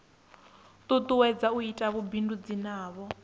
tutuwedza u ita vhubindudzi navho